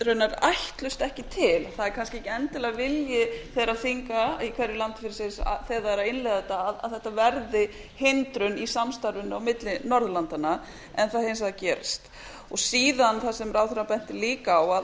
raunar ætlumst ekki til það er kannski ekki endilega vilji þeirra þinga í hverju landi fyrir sig þegar það er að innleiða þetta að þetta verði hindrun í samstarfinu á milli norðurlandanna en það hins vegar gerist síðan það sem ráðherrann benti líka á að